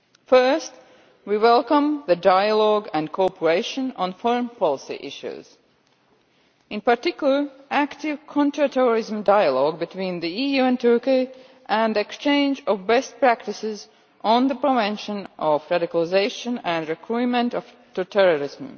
First, we welcome the dialogue and cooperation on foreign policy issues, in particular, active counterterrorism dialogue between the EU and Turkey and exchange of best practices on the prevention of radicalisation and recruitment to terrorism.